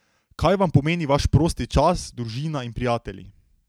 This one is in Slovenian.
Kaj vam pomeni vaš prosti čas, družina in prijatelji?